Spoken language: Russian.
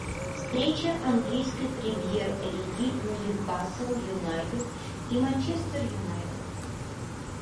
встреча английской премьер лиги ньюкасл юнайтед и манчестер юнайтед